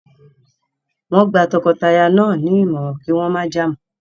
Wọ́n gba tọkọtaya náà nímọ̀ràn kí wọ́n má jà mọ́.